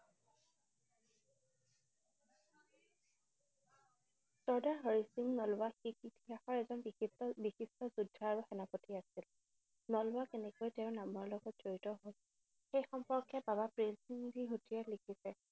চৰ্দাৰ হৰি সিং নলোৱা ইতিহাসৰ এজন বিশিষ্ট বিশিষ্ট যোদ্ধা আৰু সেনাপতি আছিল। নলোৱা কেনেকৈ তেওঁৰ নামৰ লগত জড়িত হল সেই সম্পৰ্কে বাবা প্ৰেৰ সিং জীহতে লিখিছে।